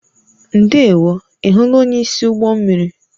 Ndewo, ị hụla onyeisi ụgbọ mmiri?